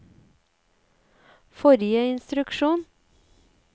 forrige instruksjon